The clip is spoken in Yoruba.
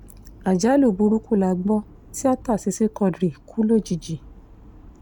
àjálù burúkú lágbo tíátá sisi quadri kú lójijì